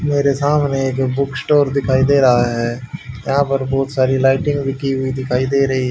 मेरे सामने एक बुक स्टोर दिखाई दे रहा है यहां पर बहुत सारी लाइटिंग भी की हुई दिखाई दे रहे--